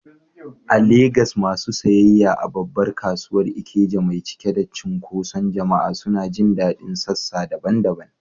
A Legas, masu sayayya a babbar kasuwar Ikeja mai cike da cunkoson jama’a suna jin daɗin sassa daban-daban.